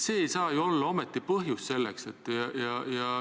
See ei saa ju olla ometi põhjus.